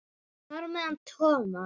Þar á meðal Thomas.